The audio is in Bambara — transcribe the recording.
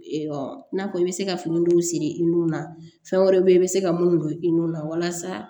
i n'a fɔ i bɛ se ka fini dɔw siri i nun na fɛn wɛrɛ bɛ yen i bɛ se ka mun don i nun na walasa